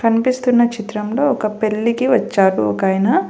కనిపిస్తున్న చిత్రంలో ఒక పెళ్ళికి వచ్చారు ఒకాయన.